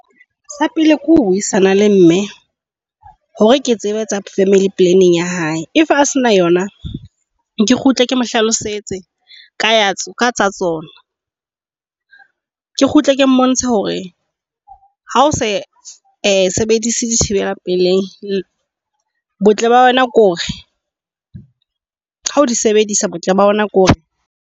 Sa pele ke ho buisana le mme hore ke tsebe family planning ya hae. If a se na yona, ke kgutle ke mo hlalosetse ka tsa tsona. Ke kgutle ke mmontshe hore ha osa e sebedise dithibeka pelei, botle ba wena ke hore hao sebedisa botle ba yona ke hore.